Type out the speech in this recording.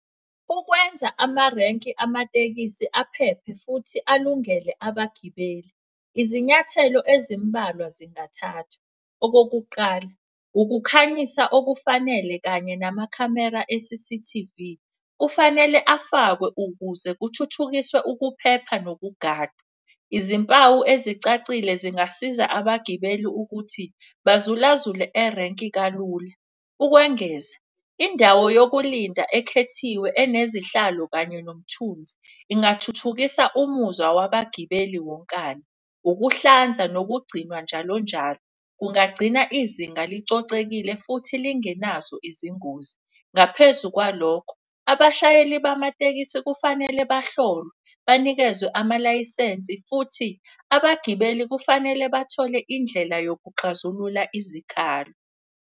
Ukwenza amarenki amatekisi aphephe futhi alungele abagibeli, uzinyathelo ezimbalwa zingathathwa. Okokuqala, ukukhanyisa okufanele kanye namakhamera e-C_C_T_V, kufanele afakwe ukuze kuthuthukiswe ukuphepha nokugada. Izimpawu ezicacile zingasiza abagibeli ukuthi bazulazule erenki kalula. Ukwengeza indawo yokulinda ekhethiwe enezihlalo kanye nomthunzi, ingathuthukisa umuzwa wabagibeli wonkana. Ukuhlanza nokugcinwa njalonjalo, kungagcina izinga licocekile futhi lingenazo izingozi. Ngaphezu kwalokho, abashayeli bamatekisi kufanele bahlolwe banikezwe amalayisensi futhi abagibeli kufanele bathole indlela yokuxazulula izikhalo.